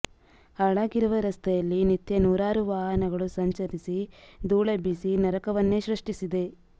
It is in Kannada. ಹಾಳಾಗಿರುವ ರಸ್ತೆಯಲ್ಲಿ ನಿತ್ಯ ನೂರಾರು ವಾಹನಗಳು ಸಂಚರಿಸಿ ದೂಳೆಬ್ಬೆಸಿ ನರಕವನ್ನೇ ಸೃಷ್ಟಿಸಿದೆ